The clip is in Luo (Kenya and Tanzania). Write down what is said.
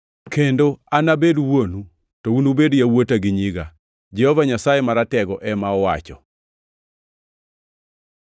Kendo, “Anabed Wuonu, to unubed yawuota gi nyiga, Jehova Nyasaye Maratego ema owacho.” + 6:18 \+xt 2Sam 7:14; 7:8\+xt*